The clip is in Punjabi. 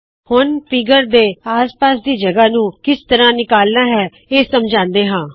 ਹੁਣ ਫ਼ੀਗਰ ਦੇ ਆਸ ਪਾਸ ਦੀ ਖਾਲੀ ਜਗਹ ਨੂੰ ਕਿਸ ਤਰਹ ਨਿਕਾਲਨਾ ਹੈ ਇਹ ਸਮਝਾਉੰਦੇ ਹਾ